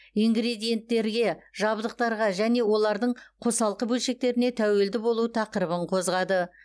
ингредиенттерге жабдықтарға және олардың қосалқы бөлшектеріне тәуелді болу тақырыбын қозғады